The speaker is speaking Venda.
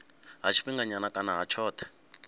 ha tshifhinganyana kana ha tshothe